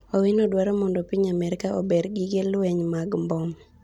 Owino dwaro mondo piny Amerka ober gige lweny mag mbom